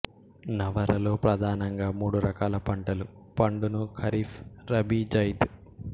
నవరలో ప్రధానంగా మూడు రకాల పంటలు పండును ఖరీఫ్ రబీ జైద్